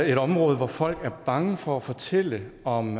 et område hvor folk er bange for at fortælle om